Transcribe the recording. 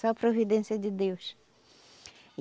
Só providência de Deus.